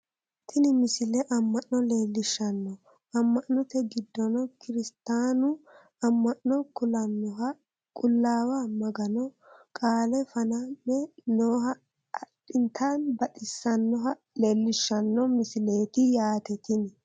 Tini misile amma'no leellishshanno amma'note giddono kirstaanu amma'no kulannoha qullaawa maganu qaale faname nooha addinta baxisannoha leellishshanno misileeti yaaate tini